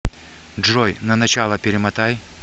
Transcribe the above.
джой на начало перемотай